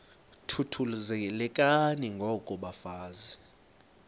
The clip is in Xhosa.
thuthuzelekani ngoko bafazana